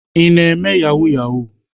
Ị na-eme yahoo yahoo?